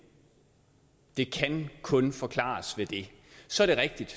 det kan kun forklares ved det så er det rigtigt at